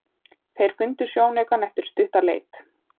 Þeir fundu sjónaukann eftir stutta leit.